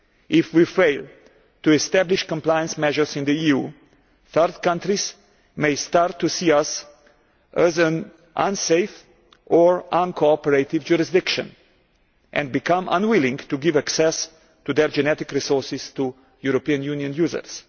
If we fail to establish compliance measures in the EU, third countries may start to see us as an unsafe or uncooperative jurisdiction, and become unwilling to give access to their genetic resources to European Union users.